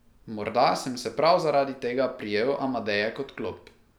Morda sem se prav zaradi tega prijel Amadeje kot klop.